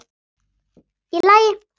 Í lagi?